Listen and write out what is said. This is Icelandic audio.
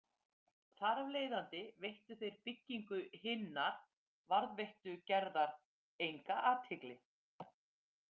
Þar af leiðandi veittu þeir byggingu hinnar varðveittu gerðar enga athygli.